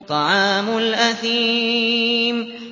طَعَامُ الْأَثِيمِ